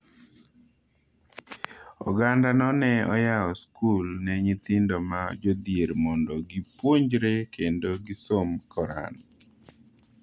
Ogandano ne oyawo skul ne nyithindo ma jodhier mondo gipuonjre kendo gisom Koran.